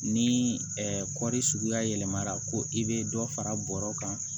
Ni kɔɔri suguya yɛlɛmara ko i bɛ dɔ fara bɔrɔ kan